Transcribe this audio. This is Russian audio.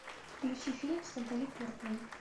включи фильм с натали портман